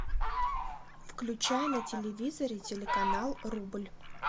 включай на телевизоре телеканал рубль